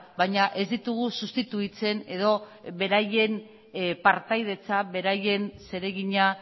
baina ez ditugu sustituitzen edo beraien partaidetza beraien zeregina